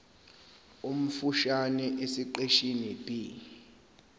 omfushane esiqeshini b